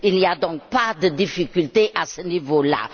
Il n'y a donc pas de difficultés à ce niveau là.